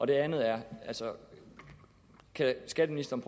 det andet er kan skatteministeren